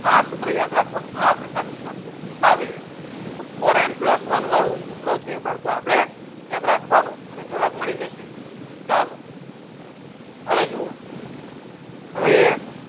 આ સૂત્ર યાદ રાખવાનું આ પ્રકારની આકૃતિ આવે તો four n pulse n વાળું સૂત્ર છે બાળકો આપણે યાદ રાખવાનું અને જવાબ મળી જશે ચાલો હવે જુઓ હવે